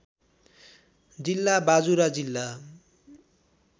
जिल्ला बाजुरा जिल्ला